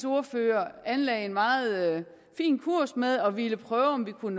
ordfører anlagde en meget fin kurs med at ville prøve om vi kunne